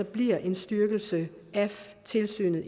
bliver en styrkelse af tilsynet